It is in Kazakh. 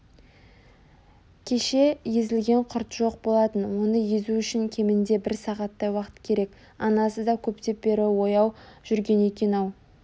кеше езілген құрт жоқ болатын оны езу үшін кемінде бір сағаттай уақыт керек анасы да көптен бері ояу жүрген екен-ау